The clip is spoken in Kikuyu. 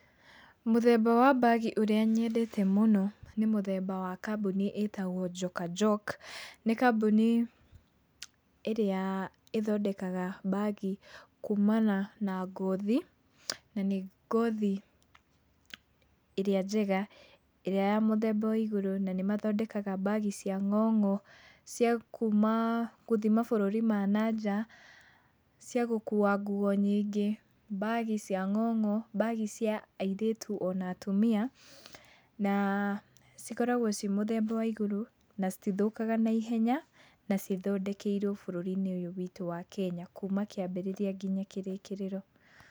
Mũthemba wa mbagi ũrĩa nyendete mũno nĩ mũthemba wa kambuni ĩtagwo Joka Jok. Nĩ kambuni ĩrĩa ĩthondekaga mbagi kumana na ngothi. Na nĩ ngothi ĩrĩa njega, ĩrĩa ya mũthemba wa igũrũ. Na nĩmathondekaga mbagi cia ng'ong'o, cia kuma gũthiĩ mabũrũri ma nanja ciagũkua nguo nyingĩ, mbagi cia ng'ong'o, mbagi cia airĩtu na atumia na cikoragwo ciĩ mũthemba wa igũrũ na citithũkaga na ihenya. Na cithondekeirwo bũrũri-inĩ ũyũ witũ wa Kenya kuma kĩambĩrĩria nginya kĩrĩkĩrĩro.